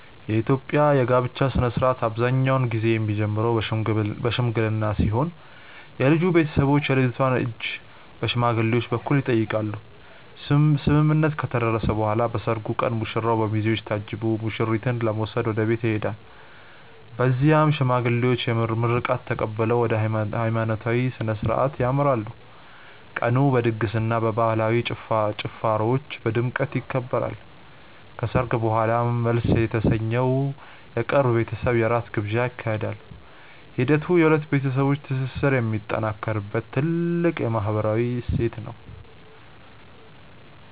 የኢትዮጵያ የጋብቻ ሥነ ሥርዓት አብዛኛውን ጊዜ የሚጀምረው በሽምግልና ሲሆን የልጁ ቤተሰቦች የልጅቷን እጅ በሽማግሌዎች በኩል ይጠይቃሉ። ስምምነት ከተደረሰ በኋላ በሰርጉ ቀን ሙሽራው በሚዜዎች ታጅቦ ሙሽሪትን ለመውሰድ ወደ ቤቷ ይሄዳል። በዚያም የሽማግሌዎች ምርቃት ተቀብለው ወደ ሃይማኖታዊ ሥነ ሥርዓት ያመራሉ። ቀኑ በድግስና በባህላዊ ጭፈራዎች በድምቀት ይከበራል። ከሰርግ በኋላም መልስ የተሰኘው የቅርብ ቤተሰብ የራት ግብዣ ይካሄዳል። ሂደቱ የሁለት ቤተሰቦች ትስስር የሚጠናከርበት ትልቅ ማህበራዊ እሴት ነው።